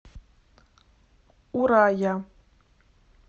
урая